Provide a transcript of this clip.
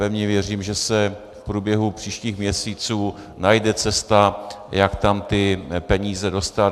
Pevně věřím, že se v průběhu příštích měsíců najde cesta, jak tam ty peníze dostat.